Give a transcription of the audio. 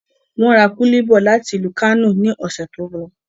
Wọ́n ra kúlí bọ́ làti ìlú Kánò ní ọ̀sẹ̀ tó lọ